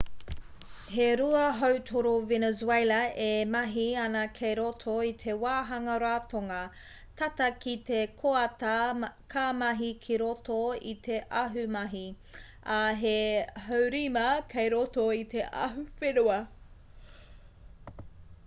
he rua hautoru venezuela e mahi āna kei roto i te wāhanga ratonga tata ki te koata ka mahi ki roto i te ahumahi ā he haurima kei roto i te ahuwhenua